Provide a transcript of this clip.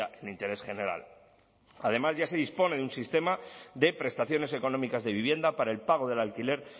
el interés general además ya se dispone de un sistema de prestaciones económicas de vivienda para el pago del alquiler